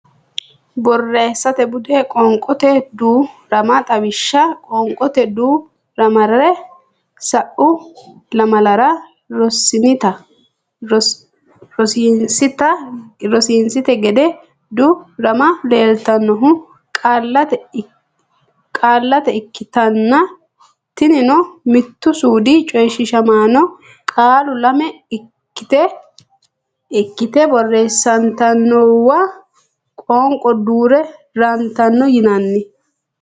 Borreessate Bude Qoonqote Duu rama Xawishsha Qoonqote duu ramare sa u lamalara rossininte gede duu ramme leeltannohu qaallate ikkitanna tinino mittu suudi coyshiishamaano qaalu lame ikkite borreessantinowa qoonqo duu rantino yinanni.